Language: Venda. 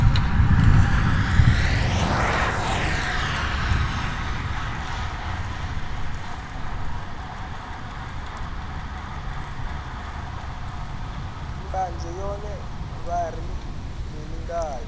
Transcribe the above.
mbanzhe yone vha ri mini ngayo